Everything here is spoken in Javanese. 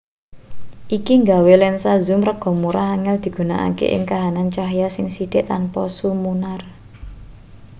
iki nggawe lensa zoom rega murah angel digunakake ing kahanan cahya sing sithik tanpa sumunar